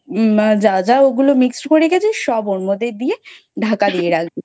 আহ যা যা ঐগুলো Mixie করে রেখেছে সব ওর মধ্যে দিয়ে ঢাকা দিয়ে রাখবি।